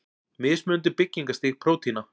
Mismunandi byggingarstig prótína.